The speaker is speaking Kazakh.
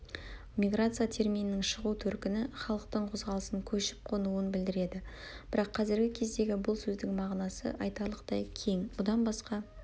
миграция терминінің шығу төркіні-халықтың қозғалысын көшіп-қонуын білдіреді бірақ қазіргі кездегі бұл сөздің мағынасы айтарлықтай кең бұдан басқа